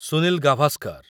Sunil Gavaskar